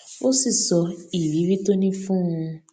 ó sì sọ ìrírí tó ní fún un